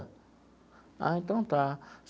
Ah, então tá.